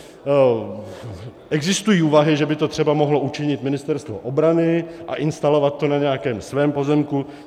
Existují úvahy, že by to třeba mohlo učinit Ministerstvo obrany a instalovat to na nějakém svém pozemku.